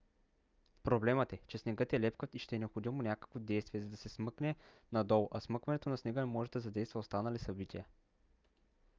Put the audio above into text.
проблемът е че снегът е лепкав и ще е необходимо някакво действие за да се смъкне надолу а смъкването на снега може да задейства останали събития